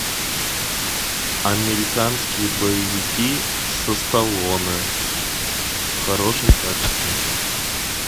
американские боевики со сталлоне в хорошем качестве